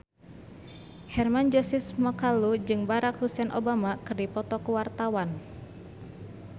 Hermann Josis Mokalu jeung Barack Hussein Obama keur dipoto ku wartawan